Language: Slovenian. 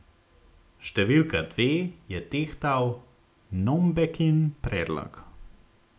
Številka dve je tehtal Nombekin predlog.